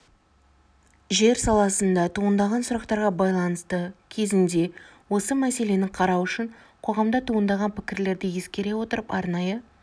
жер саласында туындаған сұрақтарға байланысты кезінде осы мәселені қарау үшін қоғамда туындаған пікірлерді ескере отырып арнайы